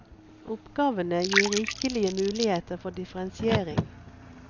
Oppgavene gir rikelige muligheter for differensiering.